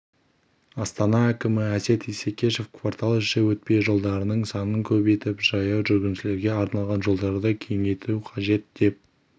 астана әкімі әсет исекешев кварталіші өтпе жолдардың санын көбейтіп жаяу жүргіншілерге арналған жолдарды кеңейту қажет деп